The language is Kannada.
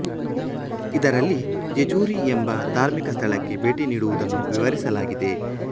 ಇದರಲ್ಲಿ ಜೆಜುರಿ ಎಂಬ ದಾರ್ಮಿಕ ಸ್ಥಳಕ್ಕೆ ಬೇಟಿ ನೀಡುವುದನ್ನು ವಿವರಿಸಲಾಗಿದೆ